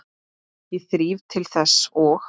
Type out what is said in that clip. Ég þríf til þess og